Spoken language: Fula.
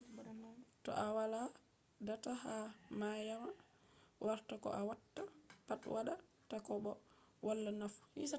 to a wala data ha wayama warta ko a watta pat wada ta ko bo wala nafu